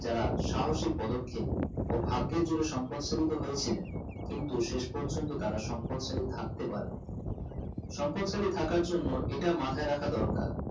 যারা সাহসি পদক্ষেপ ও ভাগের জোরে সম্পদশালী তো হয়েছিনেল কিন্তু শেষ পর্যন্ত তারা সম্পদশালী থাকতে পারেনি সম্পদশালী থাকার জন্য ইটা মাথায় রাখা দরকার